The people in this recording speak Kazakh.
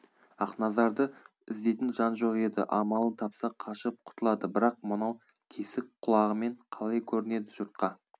ақназарды іздейтін жан жоқ еді амалын тапса қашып құтылады бірақ мынау кесік құлағымен қалай көрінеді жұртқа